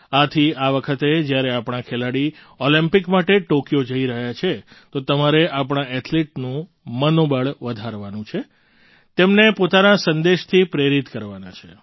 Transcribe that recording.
આથી આ વખતે જ્યારે આપણા ખેલાડી ઑલિમ્પિક માટે ટૉક્યો જઈ રહ્યા છે તો તમારે આપણા એથ્લેટનું મનોબળ વધારવાનું છે તેમને પોતાના સંદેશથી પ્રેરિત કરવાના છે